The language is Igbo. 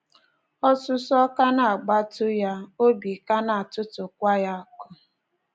Ọsụsọ ka na-agbatụ ya, obi ka na-akụtụkwa ya akụ.